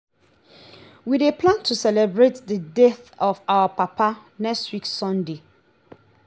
we dey plan to celebrate the death of our papa next week sunday